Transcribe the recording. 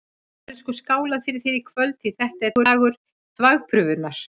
Það verður sko skálað fyrir þér í kvöld, því þetta er dagur þvagprufunnar!